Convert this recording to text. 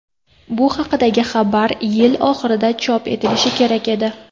Bu haqidagi xabar yil oxirida chop etilishi kerak edi.